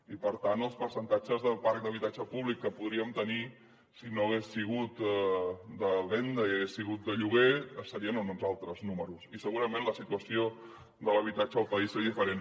i per tant els percentatges del parc d’habitatge públic que podríem tenir si no hagués sigut de venda i hagués sigut de lloguer serien en uns altres números i segurament la situació de l’habitatge al país seria diferent